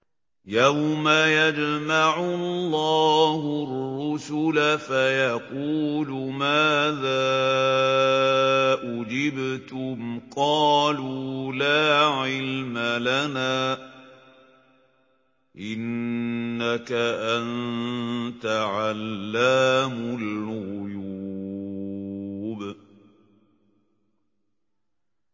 ۞ يَوْمَ يَجْمَعُ اللَّهُ الرُّسُلَ فَيَقُولُ مَاذَا أُجِبْتُمْ ۖ قَالُوا لَا عِلْمَ لَنَا ۖ إِنَّكَ أَنتَ عَلَّامُ الْغُيُوبِ